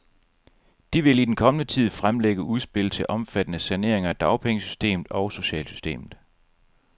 De vil i den kommende tid fremlægge udspil til omfattende saneringer af dagpengesystemet og socialsystemet.